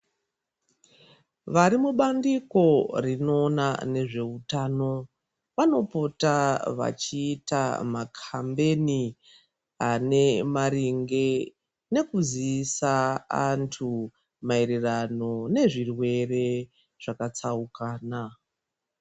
Vari mubandiko rinoona nezveutano vanopota vachiita maKambeni ane maringe nekuziisa antu maererano nezvirwere zvakatsaukana.